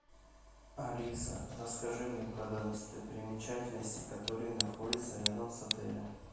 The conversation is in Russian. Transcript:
алиса расскажи мне про достопримечательности которые находятся рядом с отелем